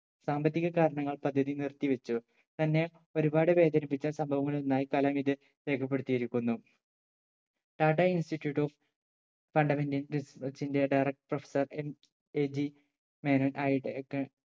സാമ്പത്തിക കാരണങ്ങളാൽ പദ്ധതി നിർത്തി വെച്ചു തന്നെ ഒരുപാട് വേദനിപ്പിച്ച സംഭങ്ങളിലൊന്നായി കലാം ഇത് രേഖപ്പെടുത്തിയിരിക്കുന്നു tata institute of fundamental research ന്റെ director sir MAG മേനോൻ ആയി ഏർ